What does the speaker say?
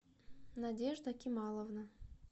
надежда кималовна